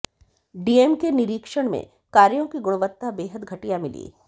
DM के निरीक्षण में कार्यों की गुणवत्ता बेहद घटिया मिली